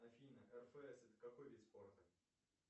афина рфс это какой вид спорта